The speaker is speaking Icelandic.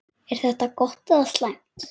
Er þetta gott eða slæmt?